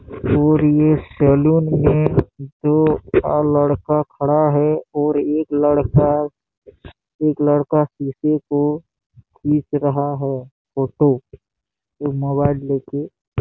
और ये सैलून में दो आ लड़का खड़ा है और एक लड़का एक लड़का शीशे को खीच रहा है फोटो ये मोबाइल ले के--